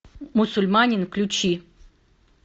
мусульманин включи